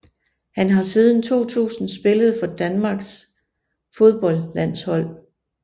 Han har siden 2000 spillet for Danmarks fodboldlandshold